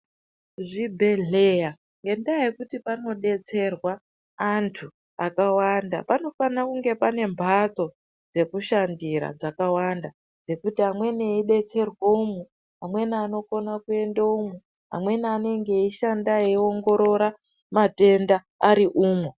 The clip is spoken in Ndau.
Zvibhedhleya, ngendaa yekuti panodetserwa antu akawanda, panofana kunge pane mbatso dzekushandira dzakawanda. Dzekuti amweni eidetserwe umu, amweni anokona kuenda umu, amweni anenge eishanda eiongorora matenda ari umwo.